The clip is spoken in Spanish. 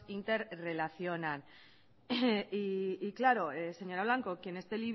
interrelacionan y claro señora blanco quien esté